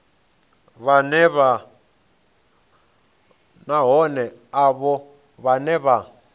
na vhohe avho vhane vha